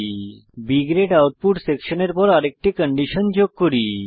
B grade output সেকশনের পর আরেকটি কন্ডিশন যোগ করি